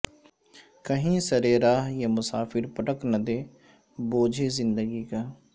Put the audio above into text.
کہیں سر راہ یہ مسافر پٹک نہ دے بوجھ زندگی کا